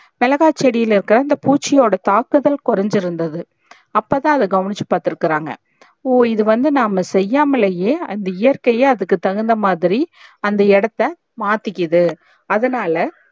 மிளகாய் செடியில இருக்க அந்த பூச்சியோட தாக்குதல் கொறஞ்சி இருந்தது அப்பதா அத கவுனுச்சி பாத்துருக்காங்க ஒ இது வந்து நம்ம செய்யாமலே அந்த இயற்கையே அதுக்கு தகுந்த மாதிரி அந்த இடத்த மாத்திகுது அதனால